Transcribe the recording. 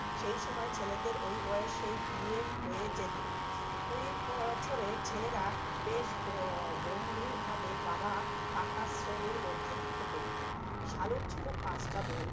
সেই সময় ছেলেদের ওই বয়সেই বিয়ে হয়ে যেত কুড়ি বছরের ছেলেরা বেশ গ~গম্ভীর ভাবে বাবা কাকা শ্রেণীর মধ্যে ঢুকে পড়তো, সালুর ছিল পাঁচটা বোন